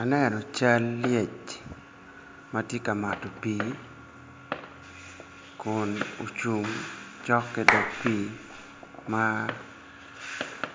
Aneno cal lyec ma tye ka mato pii Kun ocung cok ki dog pii ma